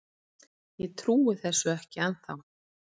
Ég trúi þessu ekki ennþá.